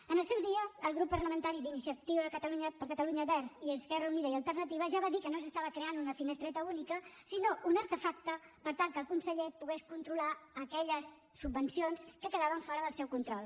en el seu dia el grup parlamentari d’iniciativa per catalunya verds i esquerra unida i alternativa ja va dir que no s’estava creant una finestreta única sinó un artefacte per tal que el conseller pogués controlar aquelles subvencions que quedaven fora del seu control